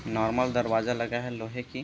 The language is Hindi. नॉर्मल दरवाजा लगा है लोहे की--